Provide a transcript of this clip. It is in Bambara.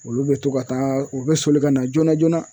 Olu bɛ to ka taa u bɛ soli ka na joona joona